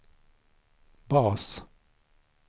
bas